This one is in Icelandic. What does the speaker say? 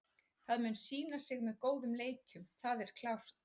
Það mun sýna sig með góðum leikjum, það er klárt.